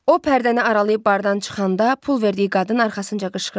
O pərdəni aralayıb bardan çıxanda pul verdiyi qadın arxasınca qışqırdı.